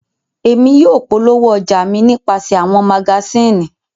Emi yóò polowo ọja mi nipasẹ awọn magasini